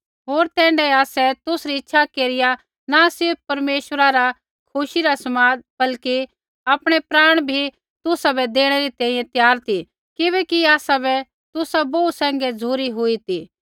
होर तैण्ढाऐ आसै तुसरी इच्छा केरिया न सिर्फ़ परमेश्वरा रा खुशी रा समाद बल्कि आपणै प्राण बी तुसाबै देणै बै त्यार ती किबैकि आसाबै तुसा बोहू सैंघै झ़ुरी हुई ती